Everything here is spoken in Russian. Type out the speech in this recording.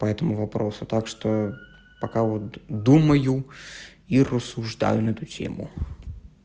по этому вопросу так что пока вот думаю и рассуждаю на эту тему